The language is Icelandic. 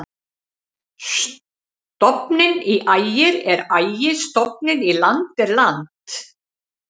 Stofninn í Ægir er Ægi-, stofninn í land er land.